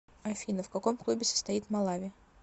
афина в каком клубе состоит малави